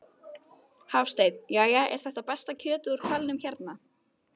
Hafsteinn: Jæja, er þetta besta kjötið úr hvalnum hérna?